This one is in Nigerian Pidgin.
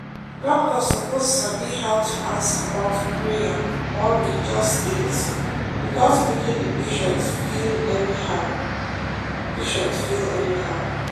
doctor suppose sabi how to ask about prayer or religious things without making the patient feel anyhow. patient feel anyhow.